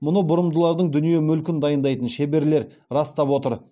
мұны бұрымдылардың дүние мүлкін дайындайтын шеберлер растап отыр